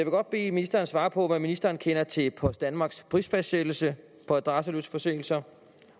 godt bede ministeren svare på hvad ministeren kender til post danmarks prisfastsættelse på adresseløse forsendelser